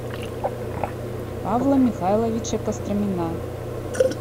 павла михайловича костромина